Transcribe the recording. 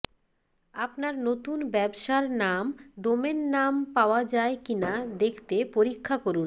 আপনার নতুন ব্যবসার নাম ডোমেন নাম পাওয়া যায় কিনা দেখতে পরীক্ষা করুন